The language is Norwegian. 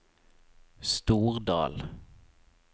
Stordal